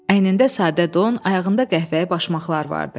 Əynində sadə don, ayağında qəhvəyi başmaqlar vardı.